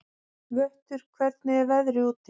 Vöttur, hvernig er veðrið úti?